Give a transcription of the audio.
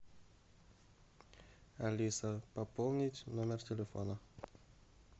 алиса пополнить номер телефона